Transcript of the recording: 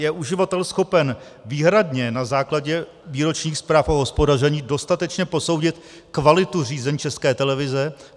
Je uživatel schopen výhradně na základě výročních zpráv o hospodaření dostatečně posoudit kvalitu řízení České televize?